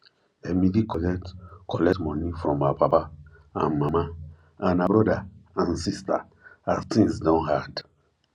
emily collect collect money from her papa and mama and her brother and sister as things don hard